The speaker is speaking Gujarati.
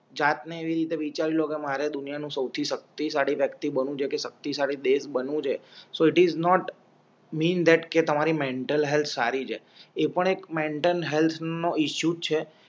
જાત ને એવી રીતે વિચારી લો કે મારે દુનિયા નું સૌથી શક્તિશાળી વ્યક્તિ બનવું છે કે શક્તિશાળી દેશ બનવું છે so it is not mean that કે તમારી મેન્ટલ હેલ્થ સારીછે એ પણ એક મેન્ટલ હેલ્થ નો ઇસ્યુ જ છે